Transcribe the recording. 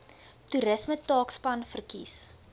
toerisme taakspan verkies